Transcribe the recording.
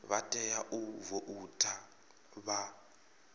vha tea u voutha vha